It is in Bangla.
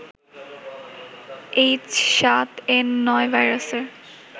এইচ৭এন৯ ভাইরাসের